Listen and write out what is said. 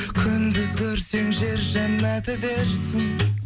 күндіз көрсең жер жәннаты дерсің